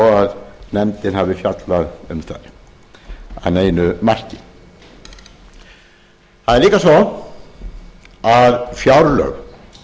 að nefndin hafi fjallað um þær að neinu marki það er líka svo að fjárlög